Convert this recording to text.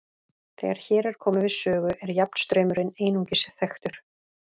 Þegar hér er komið við sögu er jafnstraumurinn einungis þekktur.